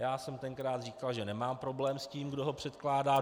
Já jsem tenkrát říkal, že nemám problém s tím, kdo ho předkládá.